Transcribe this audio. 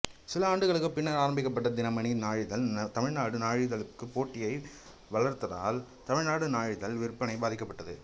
சில ஆண்டுகளுக்குப் பின்னர் ஆரம்பிக்கப்பட்ட தினமணி நாளிதழ் தமிழ்நாடு நாளிதழுக்குப் போட்டியை வளர்த்ததால் தமிழ்நாடு நாளிதழ் விற்பனை பாதிக்கப்பட்டது